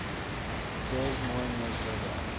des moines river